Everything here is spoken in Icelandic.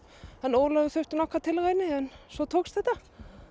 Ólafur þurfti nokkrar tilraunir en svo tókst þetta